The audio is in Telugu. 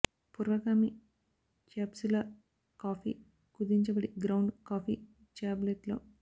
పూర్వగామి క్యాప్సులార్ కాఫీ కుదించబడి గ్రౌండ్ కాఫీ టాబ్లెట్లో